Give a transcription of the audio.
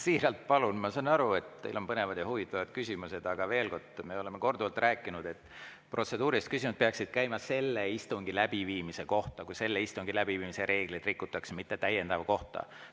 Ma siiralt palun, ma saan aru, et teil on põnevad ja huvitavad küsimused, aga ütlen veel kord: me oleme korduvalt rääkinud, et protseduurilised küsimused peaksid käima praeguse istungi läbiviimise kohta, kui selle istungi läbiviimise reegleid rikutakse, mitte täiendava istungi kohta.